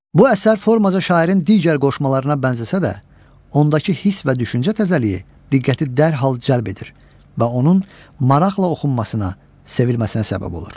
Bu əsər formaca şairin digər qoşmalarına bənzəsə də, ondakı hiss və düşüncə təcəlliyi diqqəti dərhal cəlb edir və onun maraqla oxunmasına, sevilməsinə səbəb olur.